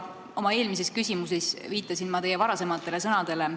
Oma eelmises küsimuses viitasin ma teie varasematele sõnadele.